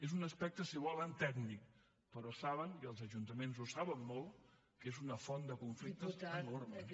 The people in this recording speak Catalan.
és un aspecte si volen tècnic però saben i els ajuntaments ho saben molt que és una font de conflictes enorme